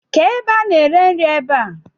ké ebe a na ere nri ebá?